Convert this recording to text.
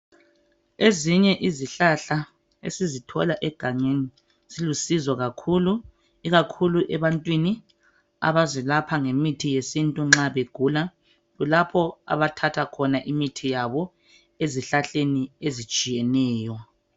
Ezinye izihlahla esizithola egangeni zilusizo kakhulu ikakhulu ebantwini abazelapha ngemithi yesintu nxa begula. Kulapho abathatha khona imithi yabo ezihlahleni ezitshiyeneyo.